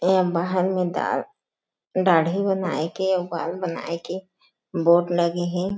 ऐ महल में दाढ़ दाढ़ी बनाय के अऊ बाल बनाय के बोर्ड लगे हे।